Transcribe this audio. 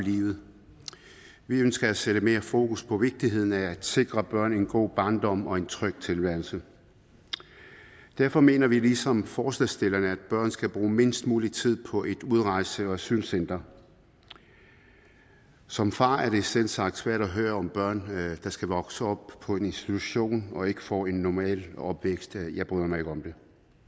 livet vi ønsker at sætte mere fokus på vigtigheden af at sikre børn en god barndom og en tryg tilværelse derfor mener vi ligesom forslagsstillerne at børn skal bruge mindst mulig tid på et udrejse og asylcenter som far er det selvsagt svært at høre om børn der skal vokse op på en institution og ikke får en normal opvækst jeg bryder mig ikke om det